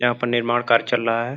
यहाँ पर निर्माण कार्य चल रहा है।